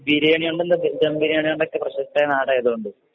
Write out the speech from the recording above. ബിരിയാണി ദം ബിരിയാണികൊണ്ടൊക്കെ പ്രശസ്തമായ നാടായതുകൊണ്ട്